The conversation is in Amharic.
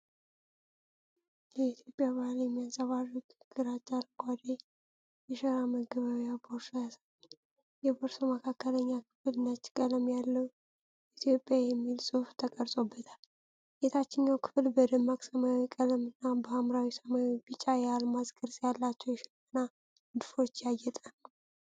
የኢትዮጵያን ባህል የሚያንፀባርቅ ግራጫ አረንጓዴ የሸራ መገበያያ ቦርሳ ያሳያል። የቦርሳው መካከለኛ ክፍል ነጭ ቀለም ያለው "ኢትዮጵያ" የሚል ጽሑፍ ተቀርጾበታል። የታችኛው ክፍል በደማቅ ሰማያዊ ቀለም እና በሀምራዊ፣ ሰማያዊና ቢጫ የአልማዝ ቅርጽ ያላቸው የሽመና ንድፎች ያጌጠ ነው።